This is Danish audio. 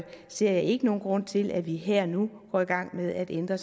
ser jeg ikke nogen grund til at vi her og nu går i gang med at ændre